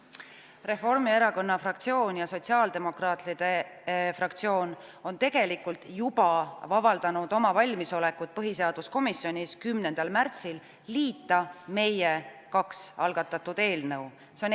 Reformierakonna fraktsioon ja sotsiaaldemokraatide fraktsioon tegelikult juba avaldasid põhiseaduskomisjonis 10. märtsil oma valmisolekut meie kaks eelnõu liita.